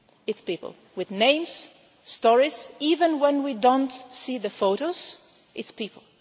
It is people with names, stories, even when we do not see the photos, it is people.